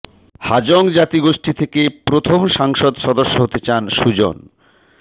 হাজং জাতিগোষ্ঠী থেকে প্রথম সংসদ সদস্য হতে চান সুজন